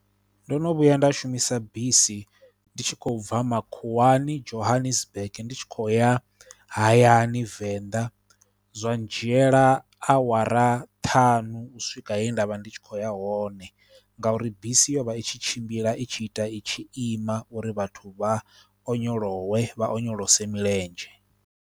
Ndo no vhuya nda shumisa bisi ndi tshi khou bva makhuwani Johannesburg ndi tshi khou ya hayani Venḓa zwa dzhiela awara ṱhanu u swika he nda vha ndi tshi kho ya hone ngauri bisi yo vha itshi tshimbila i tshi ita i tshi ima uri vhathu vha onyolowe, vha onyolose milenzhe.